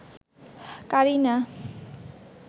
Kareena